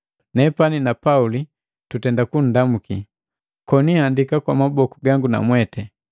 Nepani na Pauli nundamuki, koni andika kwa maboku gangu namweti.